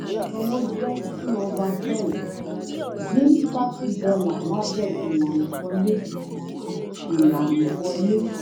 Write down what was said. ìsanwó jẹ́ two over ten; dín thirty dollar lábé ilàna wọlé. ilàna wọlé.